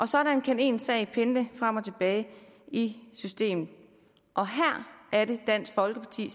sådan kan ens sag pendle frem og tilbage i systemet og her er det dansk folkeparti